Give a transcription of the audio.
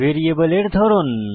ভ্যারিয়েবলের ধরন